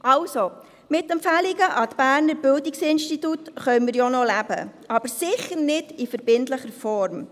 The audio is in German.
Also: Mit Empfehlungen an die Berner Bildungsinstitute können wir ja noch leben, aber sicher nicht in verbindlicher Form.